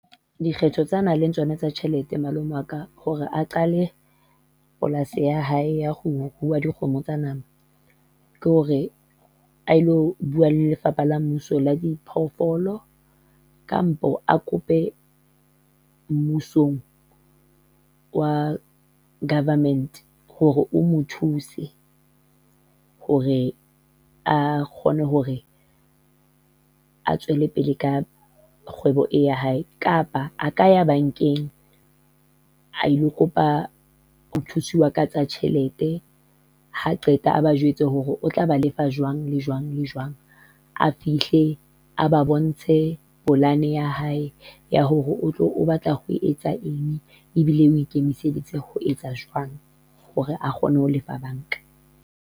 Dikgetho tseo a nang le tsona tsa tjhelete malome wa ka hore a qale polasi ya hae ya ho rua dikgomo tsa nama, ke hore a ilo bua le Lefapha la Mmuso la Diphoofolo, kampo a kope mmusong wa government hore o mo thuse hore a kgone hore a tswele pele ka kgwebo e ya hae, kapa a ka ya bankeng, a ilo kopa ho thusiwa ka tsa tjhelete, ha a qeta a ba jwetse hore o tla ba lefa jwang le jwang, le jwang. A fihle a ba bontshe polane ya hae ya hore o tlo o batla ho etsa eng, ebile o kemiseditse ho etsa jwang hore a kgone ho lefa banka.